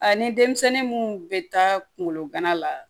A ni denmisɛnnin munnu bɛ taa kungolo gana la